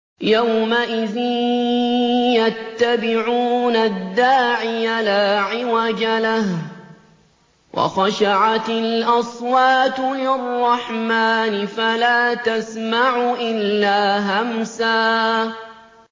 يَوْمَئِذٍ يَتَّبِعُونَ الدَّاعِيَ لَا عِوَجَ لَهُ ۖ وَخَشَعَتِ الْأَصْوَاتُ لِلرَّحْمَٰنِ فَلَا تَسْمَعُ إِلَّا هَمْسًا